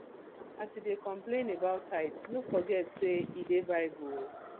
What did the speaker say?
as you dey complain about tithe no forget say e dey bible oo